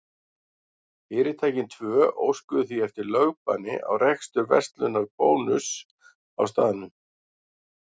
Fyrirtækin tvö óskuðu því eftir lögbanni á rekstur verslunar Bónuss á staðnum.